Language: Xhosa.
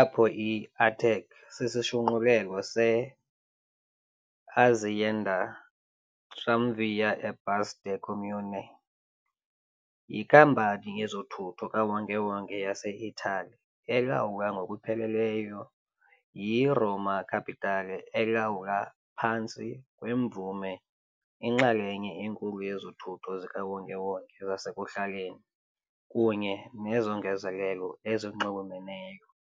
apho i-ATAC sisishunqulelo se Azienda Tramvie e Bus del Comune yinkampani yezothutho kawonke-wonke yase-Itali elawulwa ngokupheleleyo yi -Roma Capitale elawula phantsi kwemvume inxalenye enkulu yezothutho zikawonke-wonke zasekuhlaleni kunye nezongezelelo ezinxulumeneyo.